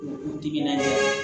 U timinandiya